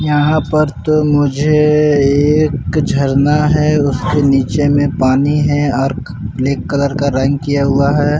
यहाँ पर तो मुझे एक झरना है उसके नीचे में पानी है और ब्लैक कलर का रंग किया हुआ है।